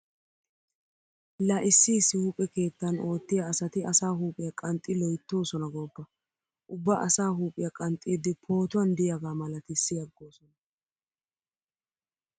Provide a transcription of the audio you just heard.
Laa issi issi huuphe keettan oottiya asati asaa huuphiya qanxxi loyttoosona gooppa. Ubba asaa huuphiya qanxxiiddi pootuwan diyagaa malatissi aggoosona.